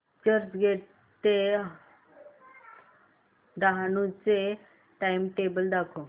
चर्चगेट ते डहाणू चे टाइमटेबल दाखव